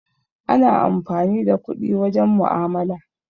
Ana amfani da kuɗi wajen mu'amala.